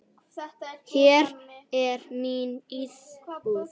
Hér er mín íbúð!